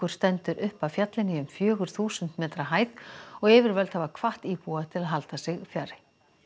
stendur upp af fjallinu í um fjögur þúsund metra hæð og yfirvöld hafa hvatt íbúa til að halda sig fjarri